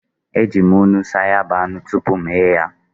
E, e ji m nnu saa ya bụ anụ tupu m ghee ya.